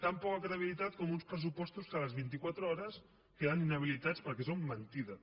tan poca credibilitat com uns pressupostos que a les vint·i·quatre hores queden inhabilitats perquè són mentida